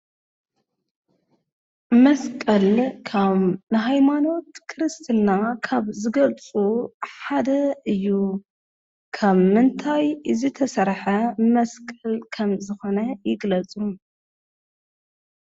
መስቀል ከም ንሃይማኖት ክርስትና ካብ ዝገልፁ ሓደ እዩ፡፡ ካብ ምንታይ ዝተሰርሓ መስቀል ከም ዝኾነ ይግለፁ?